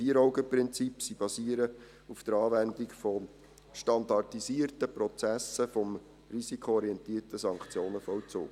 VierAugen-Prinzip. Sie basieren auf der Anwendung von standardisierten Prozessen des risikoorientierten Sanktionenvollzugs.